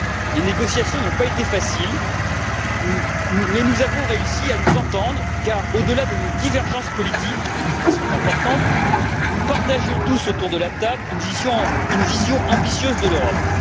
Les négociations n'ont pas été faciles mais nous avons réussi à nous entendre car, au delà de nos divergences politiques qui sont importantes nous partagions tous, autour de la table, une vision ambitieuse de l'Europe.